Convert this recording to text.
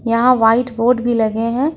यहां white board भी लगे हैं।